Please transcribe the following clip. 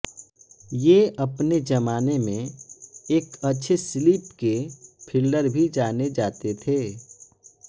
ये अपने जमाने में एक अच्छे स्लिप के फील्डर भी जाने जाते थे